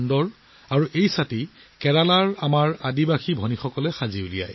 আৰু বিশেষত্ব এই ছাতিবোৰ কেৰেলাৰ আমাৰ জনজাতীয় ভগ্নীসকলে প্ৰস্তুত কৰে